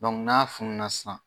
n'a fununa sisan.